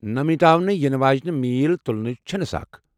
نہٕ مِٹاونہٕ یِنہٕ واجیٚنۍ میٖل تُلٕنۍ چَھنہ سخ۔